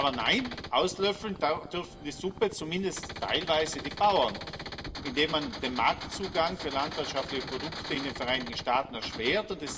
Aber nein, auslöffeln dürfen die Suppe zumindest teilweise die Bauern, indem man den Marktzugang für landwirtschaftliche Produkte in den Vereinigten Staaten erschwert.